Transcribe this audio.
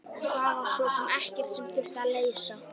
Og það var svo sem ekkert sem þurfti að leysa.